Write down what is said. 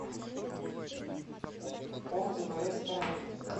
отзывы рэсторани